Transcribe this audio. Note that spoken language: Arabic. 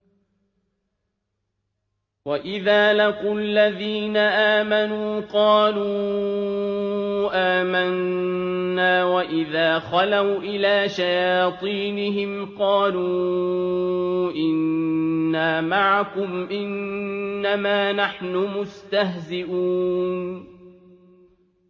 وَإِذَا لَقُوا الَّذِينَ آمَنُوا قَالُوا آمَنَّا وَإِذَا خَلَوْا إِلَىٰ شَيَاطِينِهِمْ قَالُوا إِنَّا مَعَكُمْ إِنَّمَا نَحْنُ مُسْتَهْزِئُونَ